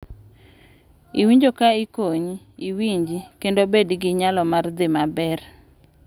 Iwinjo ka ikonyi, iwinji, kendo bedo gi nyalo mar dhi maber.